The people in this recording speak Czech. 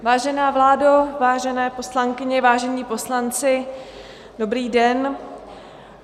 Vážená vládo, vážené poslankyně, vážení poslanci, dobrý den.